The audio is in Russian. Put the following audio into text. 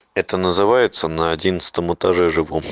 это называется на одиннадцатом этаже живу